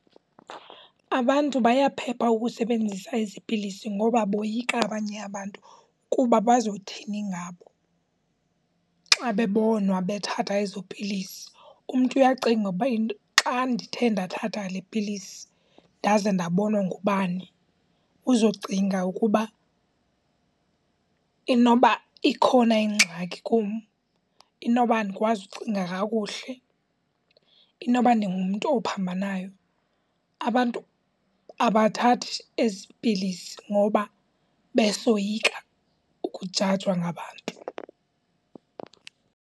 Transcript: Abantu bayaphepha ukusebenzisa ezi pilisi ngoba boyika abanye abantu kuba bazothini ngabo xa bebonwa bethatha ezo pilisi. Umntu uyacinga uba xa ndithe lepilisi ndaze ndabonwa ngubani, uzocinga ukuba inoba ikhona ingxaki kum, inoba andikwazi kucinga kakuhle, inoba ndingumntu ophambanayo. Abantu abathathi ezi pilisi ngoba besoyika ukujajwa ngabantu.